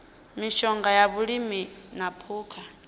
mishonga ya vhulimi na phukha